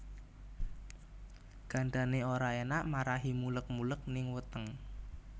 Gandané ora enak marahi muleg muleg ning weteng